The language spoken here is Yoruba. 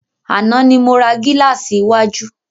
Àná ni mo ra gílàsì iwájú.